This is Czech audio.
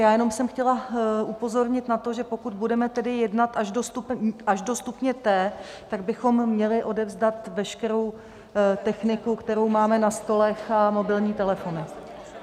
Já jenom jsem chtěla upozornit na to, že pokud budeme tedy jednat až do stupně T, tak bychom měli odevzdat veškerou techniku, kterou máme na stolech, a mobilní telefony.